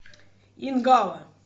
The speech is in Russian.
ингала